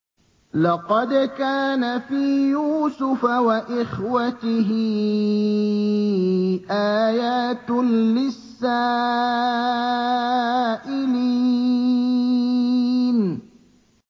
۞ لَّقَدْ كَانَ فِي يُوسُفَ وَإِخْوَتِهِ آيَاتٌ لِّلسَّائِلِينَ